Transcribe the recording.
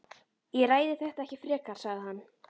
Ég ræði þetta ekki frekar sagði hann.